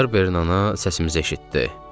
Barberin ana səsimizi eşitdi.